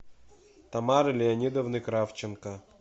тамары леонидовны кравченко